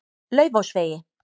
Laufásvegi